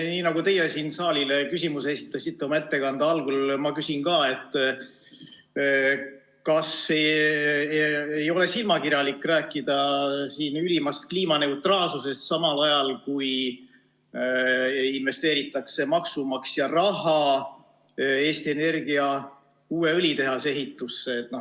Nii nagu teie siin saalile küsimuse esitasite oma ettekande algul, ma küsin ka teilt, kas ei ole silmakirjalik rääkida siin ülimast kliimaneutraalsusest, samal ajal kui investeeritakse maksumaksja raha Eesti Energia uue õlitehase ehitusse.